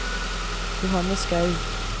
Johanne Skaug